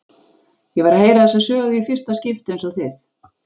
Ég var að heyra þessa sögu í fyrsta skipti eins og þið.